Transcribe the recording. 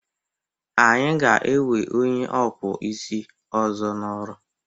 Anyị ga-ewe onye ọkpụ isi ọzọ n'ọrụ.